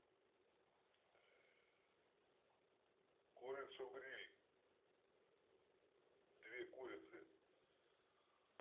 курицу гриль две курицы